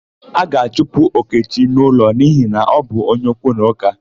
A ga-achụpụ Okechi n'ụlọ n'ihi na ọ bụ onye okwu na ụka.